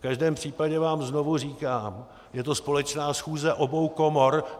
V každém případě vám znovu říkám, je to společná schůze obou komor.